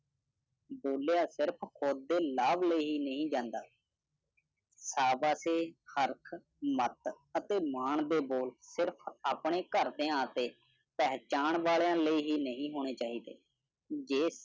ਬੋਲਿਆ ਸਿਰਫ ਖੁਦ ਦੇ ਲਾਭ ਲਾਏ ਹੀ ਨੀ ਜਾਂਦਾ। ਸਾਬਾਸੇ, ਮਤ ਅਤੇ ਮਾਣ ਦੇ ਬੋਲ ਸਿਰਫ ਆਪਣੇ ਘਰਦਿਆਂ ਤੇ ਪਹਿਚਾਣ ਵਾਲਿਆਂ ਲਈ ਨਹੀਂ ਹੋਣੇ ਚਾਹੀਦੇ। ਜੇ